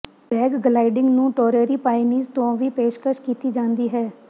ਹੈਗ gliding ਨੂੰ Torrey Pines ਤੋਂ ਵੀ ਪੇਸ਼ਕਸ਼ ਕੀਤੀ ਜਾਂਦੀ ਹੈ